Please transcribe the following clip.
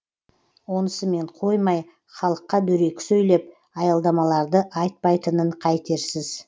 онысымен қоймай халыққа дөрекі сөйлеп аялдамаларды айтпайтынын қайтерсіз